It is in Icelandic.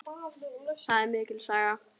Það er mikil saga.